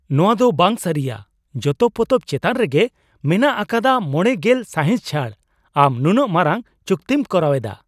ᱱᱚᱣᱟ ᱫᱚ ᱵᱟᱝ ᱥᱟᱹᱨᱤᱭᱟ ! ᱡᱚᱛᱚ ᱯᱚᱛᱚᱵ ᱪᱮᱛᱟᱱ ᱨᱮᱜᱮ ᱢᱮᱱᱟᱜ ᱟᱠᱟᱫᱟ ᱢᱚᱬᱮ ᱜᱮᱞ ᱥᱟᱭᱦᱤᱸᱥ ᱪᱷᱟᱹᱲ ᱾ ᱟᱢ ᱱᱩᱱᱟᱹᱜ ᱢᱟᱨᱟᱝ ᱪᱩᱠᱛᱤᱢ ᱠᱚᱨᱟᱣᱮᱫᱟ ᱾